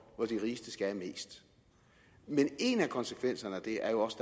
hvor de rigeste skal have mest men en af konsekvenserne af det er jo også